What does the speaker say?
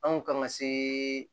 Anw kama se